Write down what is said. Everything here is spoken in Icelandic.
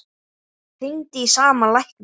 Hringdi í sama lækni